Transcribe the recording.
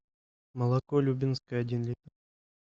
молоко любинское один литр